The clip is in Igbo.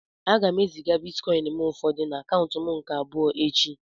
A ga m eziga ụfọdụ bịtkọin na akaụntu m nke abụọ echi